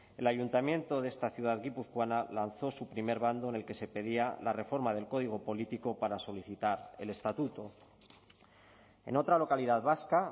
el ayuntamiento de esta ciudad guipuzcoana lanzó su primer bando en el que se pedía la reforma del código político para solicitar el estatuto en otra localidad vasca